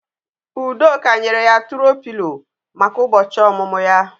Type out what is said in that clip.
Udoka nyere ya tùro Pịlo maka ụbọchị ọmụmụ ya